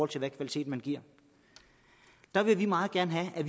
til den kvalitet man giver der vil vi meget gerne have at